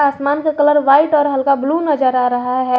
आसमान का colour white और हल्का ब्लू नजर आ रहा है।